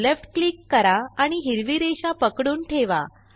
left click करा आणि हिरवी रेषा पकडून ठेवा